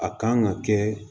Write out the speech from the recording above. A kan ka kɛ